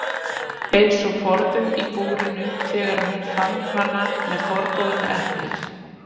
Eins og forðum í búrinu þegar hún fann hana með forboðna eplið.